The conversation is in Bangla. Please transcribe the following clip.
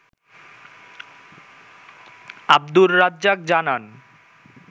আবদুর রাজ্জাক জানান